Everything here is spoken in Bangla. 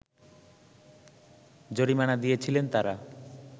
জরিমানা দিয়েছিলেন তারা